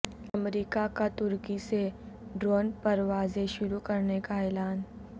امریکہ کا ترکی سے ڈرون پروازیں شروع کرنے کا اعلان